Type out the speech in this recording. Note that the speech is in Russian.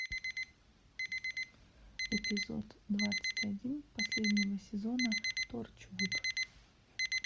эпизод двадцать один последнего сезона торчвуд